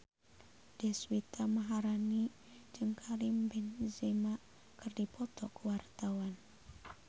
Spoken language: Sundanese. Deswita Maharani jeung Karim Benzema keur dipoto ku wartawan